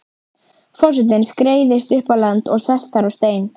Forsetinn skreiðist upp á land og sest þar á stein.